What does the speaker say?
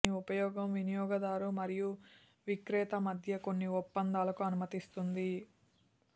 దీని ఉపయోగం వినియోగదారు మరియు విక్రేత మధ్య కొన్ని ఒప్పందాలకు అనుమతిస్తుంది